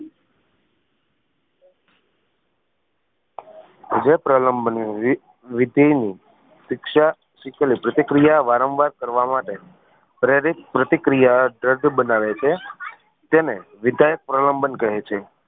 જે પ્રબલમ વિધય ની શિક્ષા શીખવાની પ્રતિક્રિયા વારંવાર કરવા માટે પ્રેરિત પ્રતિક્રિયા દ્રઢ બનાવે છે તેને વિધાયક પ્રલનબંન કહે છે